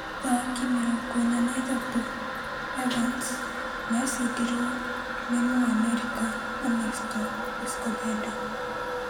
Mũthaki mĩrongo ĩna na ithatũ Evans nĩasindirwe kwa Mũamerika Ernesto Escobedo.